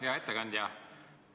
Hea ettekandja!